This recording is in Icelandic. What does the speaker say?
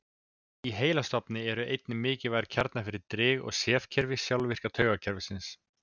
í heilastofni eru einnig mikilvægir kjarnar fyrir drif og sefkerfi sjálfvirka taugakerfisins